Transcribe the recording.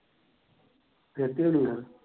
ਦੇ ਤੀ ਹੋਣੀ ਆ।